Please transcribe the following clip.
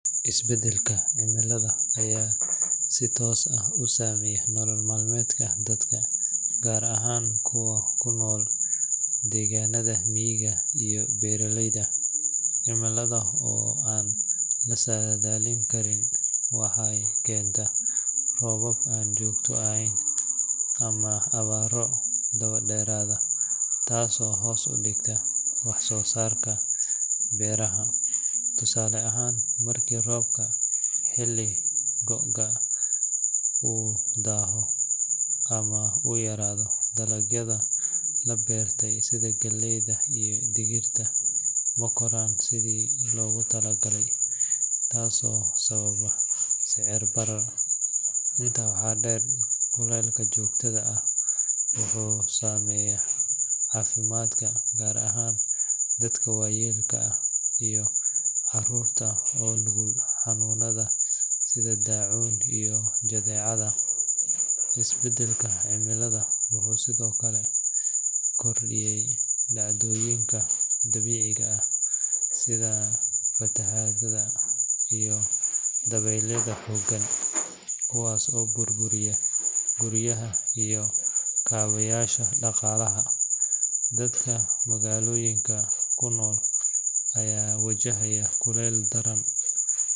Isbedelka cimilada ayaa si toos ah u saameeya nolol maalmeedka dadka, gaar ahaan kuwa ku nool deegaanada miyiga iyo beeraleyda. Cimilada oo aan la saadaalin karin waxay keentaa roobab aan joogto ahayn ama abaaro daba dheeraada, taasoo hoos u dhigta wax soo saarka beeraha. Tusaale ahaan, markii roobkii xilliga gu’ga uu daaho ama uu yaraado, dalagyadii la beertay sida galleyda iyo digirta ma koraan sidii loogu talagalay, taasoo sababa sicir barar. Intaa waxaa dheer, kuleylka joogtada ah wuxuu saameeyaa caafimaadka, gaar ahaan dadka waayeelka ah iyo carruurta oo u nugul xanuunada sida daacuunka iyo jadeecada. Isbedelka cimilada wuxuu sidoo kale kordhiyay dhacdooyinka dabiiciga ah sida fatahaadaha iyo dabeylaha xooggan, kuwaas oo burburiya guryaha iyo kaabayaasha dhaqaalaha. Dadka magaalooyinka ku nool ayaa wajahaya kuleyl daran.